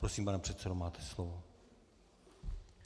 Prosím, pane předsedo, máte slovo.